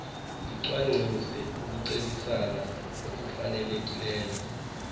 licwangcise ukucebisana okufanelekileyo